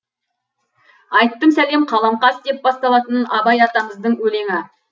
айттым сәлем қаламқас деп басталатын абай атамыздың өлеңі